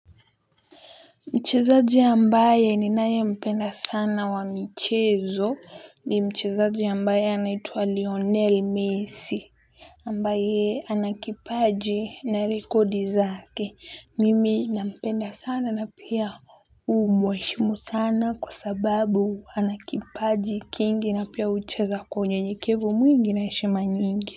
Mchezaji ambaye ninayempenda sana wa mchezo ni mchezaji ambaye anaitwa Lionel Messi ambaye ana kipaji na rekodi zake. Mimi nampenda sana na pia jhumweshimu sana kwa sababu ana kipaji kingi na pia hucheza kwa unyenyekevu mwingi na heshima nyingi.